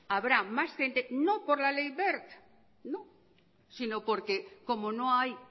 habrá más gente no por la ley wert sino porque como no hay